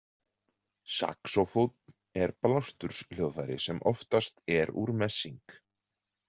Saxófónn er blásturshljóðfæri sem oftast er úr messing.